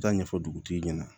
Taa ɲɛfɔ dugutigi ɲɛna